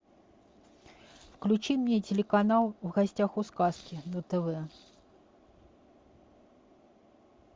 включи мне телеканал в гостях у сказки на тв